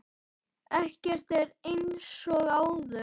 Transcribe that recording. Ekkert er eins og áður.